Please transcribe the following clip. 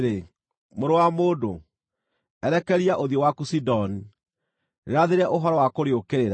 “Mũrũ wa mũndũ, erekeria ũthiũ waku Sidoni; rĩrathĩre ũhoro wa kũrĩũkĩrĩra,